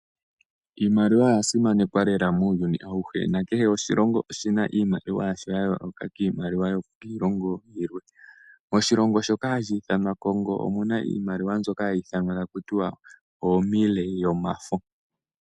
Iimaliwa oya simanekwa lela muuyuni awuhe. Nakehe oshilongo oshi na iimaliwa yasho ya yooloka kiimaliwa yokiilongo yilwe. Oshilongo shoka hashi ithanwa Congo omu na iimaliwa mbyoka hayi ithanwa taku tiwa Oomille yomafo.